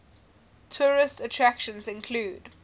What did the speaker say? tourist attractions include